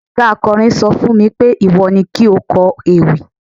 oga akọrin sọ fún mi pé, iwọ ni ki o kó ewi